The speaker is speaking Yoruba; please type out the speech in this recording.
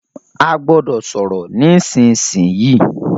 A gbọ́dọ̀ sọ̀rọ̀ nísìsiyìí!